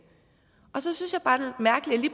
så synes at